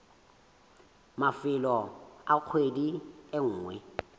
mafelong a kgwedi e nngwe